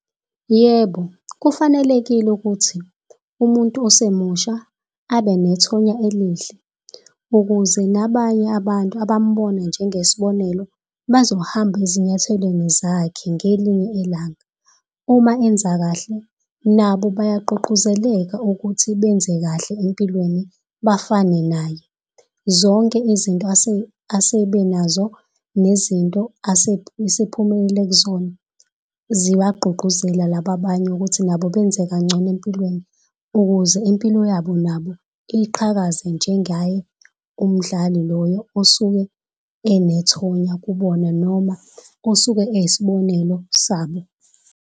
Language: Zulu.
Yebo, kufanelekile ukuthi umuntu osemusha abe nethonya elihle. Ukuze nabanye abantu abamubona njengesibonelo, bazohamba ezinyathelweni zakhe ngelinye ilanga. Uma enza kahle, nabo bayagqugquzeleka ukuthi benze kahle empilweni bafane naye. Zonke izinto asebe nazo, nezinto asephumile kuzona, ziwagqugquzela laba abanye ukuthi nabo benze kangcono empilweni. Ukuze impilo yabo nabo iqhakaze njengaye umdlali loyo osuke enethonya kubona, noma osuke eyisibonelo sabo.